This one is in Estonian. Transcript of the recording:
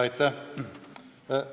Aitäh!